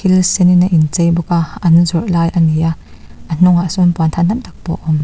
senin a inchei bawk a an zawrh lai a ni a a hnungah sawn puanthan tam tak pawh awm .